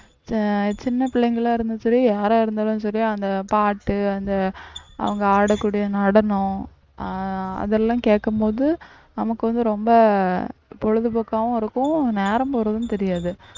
அஹ் சின்ன பிள்ளைங்களா இருந்தாலும் சரி யாரா இருந்தாலும் சரி அந்த பாட்டு அந்த அவங்க ஆடக்கூடிய நடனம் ஆஹ் அதெல்லாம் கேக்கும் போது நமக்கு வந்து ரொம்ப பொழுதுபோக்காவும் இருக்கும் நேரம் போறதும் தெரியாது